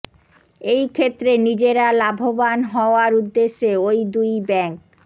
এই ক্ষেত্রে নিজেরা লাভবান হওয়ার উদ্দেশ্যে ওই দুই ব্যাংক